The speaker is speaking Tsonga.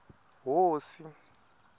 hosi